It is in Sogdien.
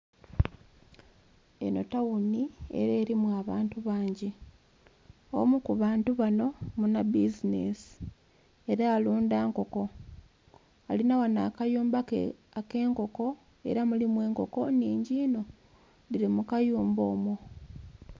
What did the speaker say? Enho tawuni ela elimu abantu bangi. Omu ku bantu bano muna bizineesi, ela alunda nkoko. Alina ghano akayumba ke ak'enkoko ela mulimu enkoko nhingi inho, dhili mu kayumba omwo.